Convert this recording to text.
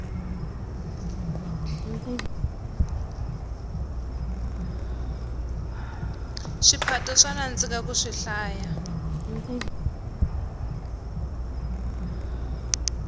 swiphato swa nandzika ku swihlaya